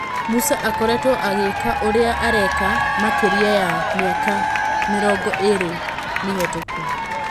"Musa akoretwo agĩ ka ũria areka makĩ ria ya mĩ aka mĩ rongo ĩ rĩ mĩ hetũku"